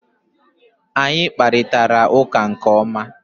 Anyị kparịtara ụka nke ma